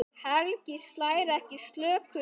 Helgi slær ekki slöku við.